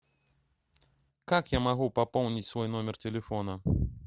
как я могу пополнить свой номер телефона